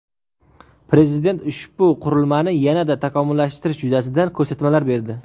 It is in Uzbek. Prezident ushbu qurilmani yanada takomillashtirish yuzasidan ko‘rsatmalar berdi.